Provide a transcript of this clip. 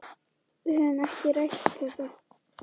Við höfum ekki rætt þetta.